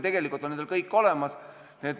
Tegelikult on nendel kõik olemas.